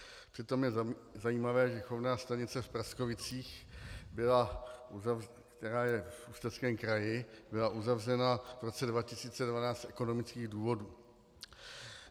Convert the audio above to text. Přitom je zajímavé, že chovná stanice v Prackovicích, která je v Ústeckém kraji, byla uzavřena v roce 2012 z ekonomických důvodů.